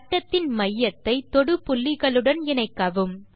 வட்டத்தின் மையத்தை தொடு புள்ளிகளுடன் இணைக்கவும்